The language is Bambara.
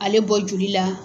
Ale bɔ joli la.